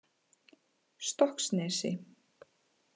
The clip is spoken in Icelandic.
Stokksnesi